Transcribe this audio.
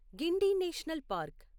Guindy national park